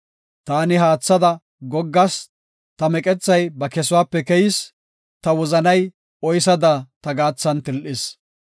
Taani haathada goggas; ta meqethay ba kesuwape keyis; ta wozanay oysada ta gaathan til7is.